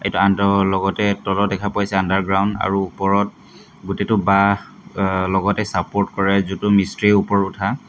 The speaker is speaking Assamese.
লগতে তলত দেখা পাইছে আণ্ডাৰগ্ৰাউণ্ড আৰু ওপৰত প্ৰতিটো বাঁহ অ --লগতে চাপৰ্ট কৰাই যুটো মিস্ত্ৰী ওপৰত উঠা